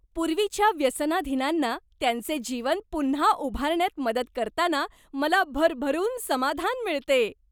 पूर्वीच्या व्यसनाधीनांना त्यांचे जीवन पुन्हा उभारण्यात मदत करताना मला भरभरून समाधान मिळते.